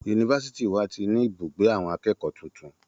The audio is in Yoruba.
Yunifásitì wa ti ní ibùgbé àwọn akẹ́kọ̀ọ́ tuntun.